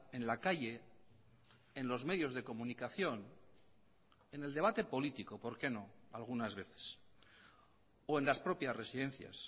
en la calle en los medios de comunicación en el debate político por qué no algunas veces o en las propias residencias